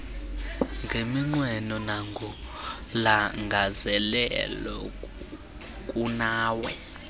ngeminqweno nangolangazelelo kunawe